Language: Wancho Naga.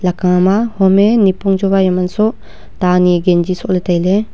eka ma homye nyipong chuvai mansuh ta anyi gengi suhley taile.